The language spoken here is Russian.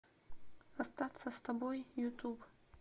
остаться с тобой ютуб